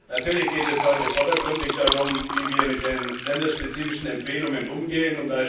Natürlich geht es heute vordergründig darum, wie wir mit den länderspezifischen Empfehlungen umgehen.